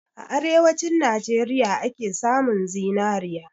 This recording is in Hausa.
A arewanci Najeriya ake samun zinari